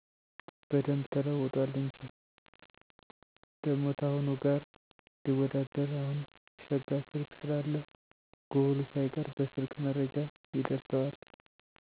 በደንብ ተለውጧል እንጂ። ደሞ ታሁኑ ጋር ሊወዳደር አሁን ሸጋ ስልክ ስላለ ጉብሉ ሳይቀር በሰልክ መረጃ ይደርሠዋል።